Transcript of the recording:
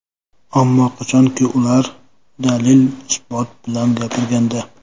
Ammo qachonki, ular dalil-isbot bilan gapirganda.